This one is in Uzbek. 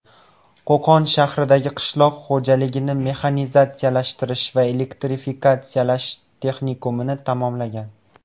Qo‘qon shahridagi Qishloq xo‘jaligini mexanizatsiyalashtirish va elektrifikatsiyalash texnikumini tamomlagan.